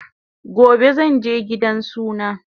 Gobe zanje gidan suna